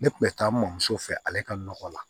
Ne kun bɛ taa n mamuso fɛ ale ka nɔgɔ la